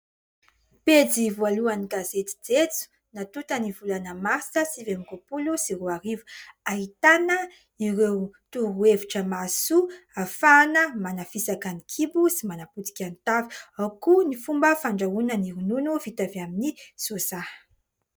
Pejy voalohany ny gazety "Jejoo" , natonta ny volana Martsa sivy amby roapolo sy roa arivo. Ahitana ireo torohevitra mahasoa hahafahana manafisaka ny kibo sy manapotika ny tavy ; ao koa ny fomba fandrahoana ny ronono vita avy amin'ny soja.